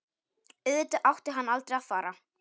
Auðvitað átti hann aldrei að fara.